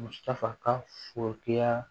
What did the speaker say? Musaka fɔ ya